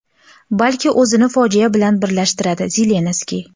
balki o‘zini fojia bilan birlashtiradi – Zelenskiy.